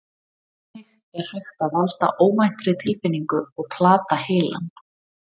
Þannig er hægt að valda óvæntri tilfinningu og plata heilann.